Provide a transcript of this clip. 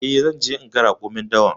E, zan je naga raƙumin dawan.